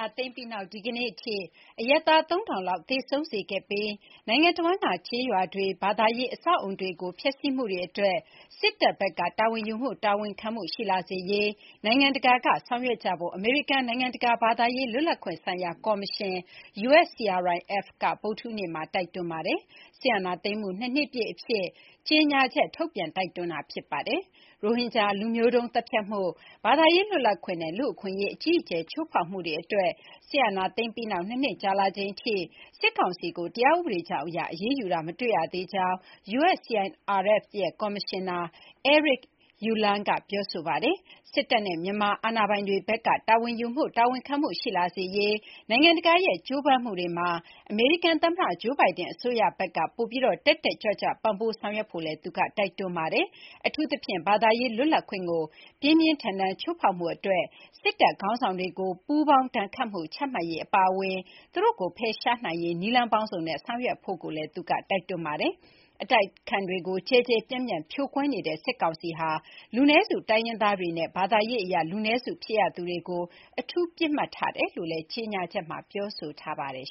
ာသိမ်းပြီးနောက် ဒီကနေ့ထိ အရပ်သား ၃,၀၀၀ လောက် သေဆုံးစေခဲ့ပြီး နိုင်ငံတဝန်းက ကျေးရွာတွေ၊ ဘာသာရေးအဆောက်အအုံတွေကို ဖျက်ဆီးမှုတွေအတွက် စစ်တပ်ဘက်က တာဝန်ယူ တာဝန်ခံမှုရှိလာစေရေး နိုင်ငံတကာကဆောင်ရွက်ကြဖို့ အမေရိကန် နိုင်ငံတကာ ဘာသာရေးလွတ်လပ်ခွင့်ဆိုင်ရာ ကော်မရှင် USCRIF က ဗုဒ္ဓဟူးနေ့မှာ တိုက်တွန်းထားပါတယ်။ စစ်အာဏာသိမ်းမှု ၂ နှစ်ပြည့်အဖြစ် USCRIF က ကြေညာချက်ထုတ်ပြန် တိုက်တွန်းတာ ဖြစ်ပါတယ်။ ရိုဟင်ဂျာ လူမျိုးတုန်းသတ်ဖြတ်မှု၊ ဘာသာရေးလွတ်လပ်ခွင့်နဲ့ လူ့အခွင့်အရေး အကြီးအကျယ် ချိုးဖောက်မှုတွေအတွက် စစ်အာဏာသိမ်းပြီးနောက် ၂ နှစ် ကြာလာချိန်ထိ စစ်ကောင်စီကို တရားဥပဒေကြောင်းအရ အရေးယူတာမတွေ့ရသေးကြောင်း USCIRF ရဲ့ ကော်မရှင်နာ Eric Ueland က ပြောဆိုပါတယ်။ စစ်တပ်နဲ့ မြန်မာအာဏာပိုင်တွေဘက်က တာဝန်ယူမှု တာဝန်ခံမှုရှိလာစေရေး နိုင်ငံတကာရဲ့ကြိုးပမ်းမှုတွေမှာ အမေရိကန်သမ္မတ Joe Biden အစိုးရဘက်က ပိုပြီး တက်တက်ကြွကြွ ပံ့ပိုးဆောင်ရွက်ဖို့လည်း သူက တိုက်တွန်းပါတယ်။ အထူးသဖြင့် ဘာသာရေးလွတ်လပ်ခွင့်ကို ပြင်းပြင်းထန်ထန် ချိုးဖောက်မှု တွက် စစ်တပ် ခေါင်းဆောင်တွေကို ပူးပေါင်းဒဏ်ခတ်မှု ချမှတ်ရေးအပါအဝင် သူတို့ကိုဖယ်ရှားနိုင်ရေး နည်းလမ်းပေါင်းစုံနဲ့ ဆောင်ရွက်ဖို့လည်း သူက တိုက်တွန်းထားပါတယ်။ အတိုက်အခံတွေကို ကျယ်ကျယ်ပြန့်ပြန့် ဖြိုခွဲနေတဲ့စစ်ကောင်စီဟာ လူနည်းစုတိုင်းရင်းသားတွေနဲ့ ဘာသာရေး အရ လူနည်းစုဖြစ်ရသူတွေကို အထူး ပစ်မှတ်ထားတယ်လို့လည်း ကြေညာချက်မှာ ပြောဆိုထားပါတယ်